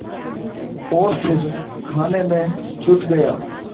और फिर खाने में जुट गया